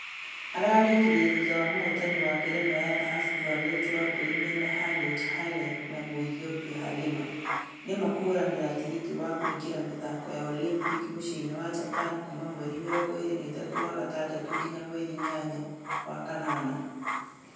Ararĩkirie thutha wa mũhotani wa ngerenwa ya dhahafu Violet wambui mena Harriet hare na mũ ethiopia Halima , nĩma kahũranira tĩgĩtĩ wa kũingĩra mĩthako ya Olympic mũciĩ- inĩ wa Japan kuuma mweri 23 wa gatandatũ nginya mweri inyanya wa kanana.